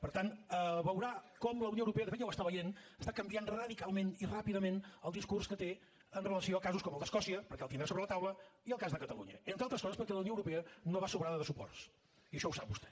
per tant veurà com la unió europea de fet ja ho està veient està canviant radicalment i ràpidament el discurs que té en relació amb casos com el d’escòcia perquè el tindrà sobre la taula i el cas de catalunya entre altres coses perquè la unió europea no va sobrada de suports i això ho sap vostè